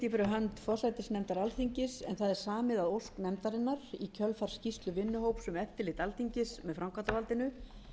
samið að ósk nefndarinnar í kjölfar skýrslu vinnuhóps um eftirlit alþingis með framkvæmdarvaldinu